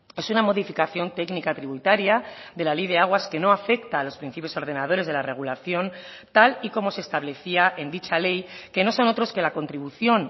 es una modificación técnica tributaria de la ley de aguas que no afecta a los principios ordenadores de la regulación tal y como se establecía en dicha ley que no son otros que la contribución